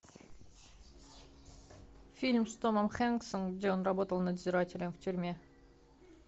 фильм с томом хэнксом где он работал надзирателем в тюрьме